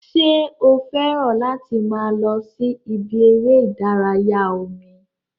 Ṣé o fẹ́ràn láti máa lọ sí ibi eré ìdárayá omi?